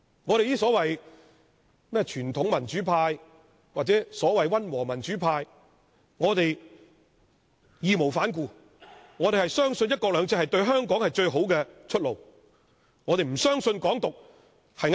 我們這些傳統民主派或溫和民主派義無反顧地相信"一國兩制"是對香港最好的出路，我們不相信"港獨"是正確的。